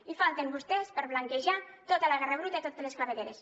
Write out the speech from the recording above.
hi falten vostès per blanquejar tota la guerra bruta i totes les clavegueres